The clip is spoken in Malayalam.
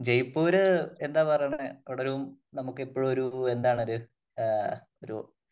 ജയ്പൂര് എന്താ പറയുന്നെ അവിടെ ഒരു നമുക്ക് എപ്പോഴും ഒരു എന്താണോര് ഒരു